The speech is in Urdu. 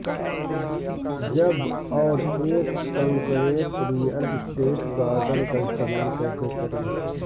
جب اور ایک کنکریٹ ریئل اسٹیٹ گارڈن کا استعمال کیسے کریں